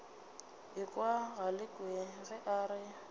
ekwa galekwe ge a re